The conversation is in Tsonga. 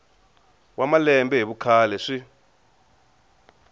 wa malembe hi vukhale swi